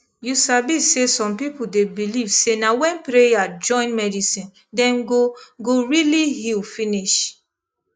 you sabi say some people dey believe say na when prayer join medicine dem go go really heal finish